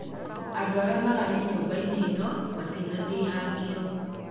Andũ arĩa mararĩ nyũmba-inĩ ino matinatihangio